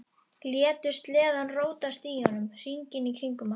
Létu sleðann rótast í honum, hringinn í kringum hann.